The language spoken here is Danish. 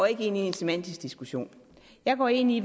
ind i en semantisk diskussion jeg går ind i